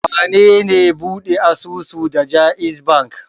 Wane ne ɓuɗe asusu da JAIZ Bankk?